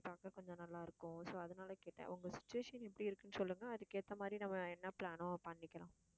பார்க்க கொஞ்சம் நல்லா இருக்கும் so, அதனால கேட்டேன் உங்க situation எப்படி இருக்குன்னு சொல்லுங்க. அதுக்கு ஏத்த மாதிரி நம்ம என்ன plan ஒ பண்ணிக்கலாம்.